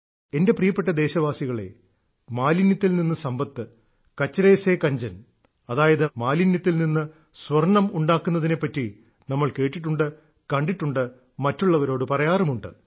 എന്റെ പ്രിയപ്പെട്ട ദേശവാസികളേ മാലിന്യത്തിൽ നിന്ന് സമ്പത്ത് കചരെ സേ കഞ്ചൻ അതായത് മാലിന്യത്തിൽ നിന്ന് സ്വർണ്ണം ഉണ്ടാക്കുന്നതിനെപ്പറ്റി നമ്മൾ കേട്ടിട്ടുണ്ട് കണ്ടിട്ടുണ്ട് മറ്റുള്ളവരോട് പറയാറുമുണ്ട്